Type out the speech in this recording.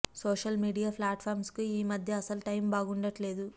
social media platforms కు ఈ మధ్య అసలు టైం బాగుండట్లేదు